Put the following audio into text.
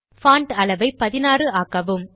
font அளவை 16 ஆக்கவும்